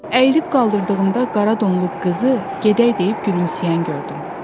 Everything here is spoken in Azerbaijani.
Əyilib qaldırdığımda qara donlu qızı "Gedək!" deyib gülümsəyən gördüm.